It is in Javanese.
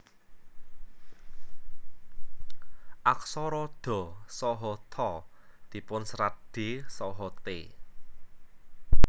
Aksara dha saha tha dipunserat d saha t